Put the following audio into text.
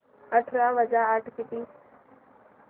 अठरा वजा आठ किती